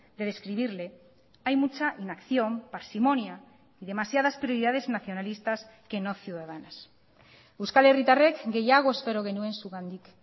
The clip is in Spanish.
de describirle hay mucha inacción parsimonia demasiadas prioridades nacionalistas que no ciudadanas euskal herritarrek gehiago espero genuen zugandik